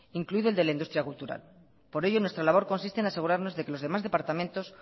incluido el de la industria cultural por ello nuestra labor consiste en asegurarnos que los demás departamentos